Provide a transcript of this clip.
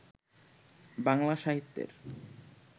বাংলা সাহিত্যের